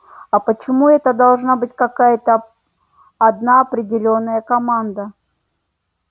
а почему это должна быть какая-то одна определённая команда